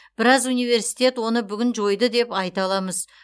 біраз университет оны бүгін жойды деп айта аламыз